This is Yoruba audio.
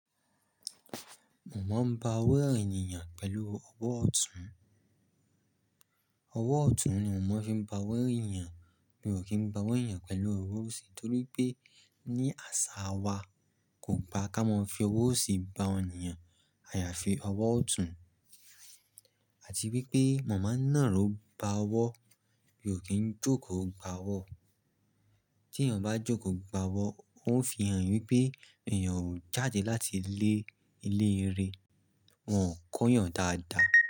Mo ń bá owó èniyàn pẹ̀lú ọwọ́ ọ̀tún. Ọwọ́ ọ̀tún ni mo maa fi ń bá owó èeyan, mi ò kí ń bá owó eeyan yàn pẹ̀lú owó òsì torí wipé ní àṣà wa kò gba kí a máa fi owó òsì bá enìyàn, ayáfi ọwọ́ ọ̀tún. Àti wípé mo máa ń nàró bá owó, mi ò kí ń jókòó gbá owó. Tí eeyàn bá jókòó gbá owó, ó ń fi hàn wípé eeyàn ò jáde láti ilé, ilé e re, wọn o kọ́ yàn dáadáa.